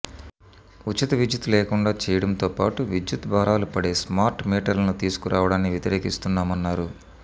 ఉచిత విద్యుత్ లేకుండా చేయడంతో పాటు విద్యుత్ భారాలు పడే స్మార్ట్ మీటర్లును తీసుకురావడాన్ని వ్యతిరేకిస్తున్నామన్నారు